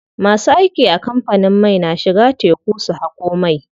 Masu aiki a kamfanin mai na shiga teku su haƙo mai.